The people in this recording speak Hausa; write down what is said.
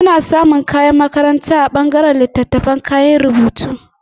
Ana iya samun kayan makaranta a ɓangaren littattafaibda kayan rubutu